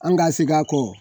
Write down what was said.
An ga segi a kɔ